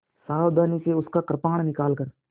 सावधानी से उसका कृपाण निकालकर